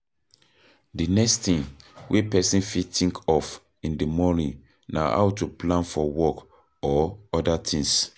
The next thing wey person fit think of in di morning na how to plan for work or oda things